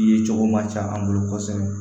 Ye cogo ma ca an bolo kosɛbɛ